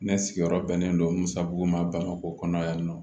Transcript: Ne sigiyɔrɔ bɛnnen don musako ma bangekɔ kɔnɔna yan nɔ